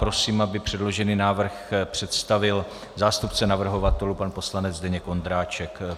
Prosím, aby předložený návrh představil zástupce navrhovatelů pan poslanec Zdeněk Ondráček.